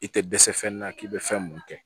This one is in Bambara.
I tɛ dɛsɛ fɛn na k'i bɛ fɛn mun kɛ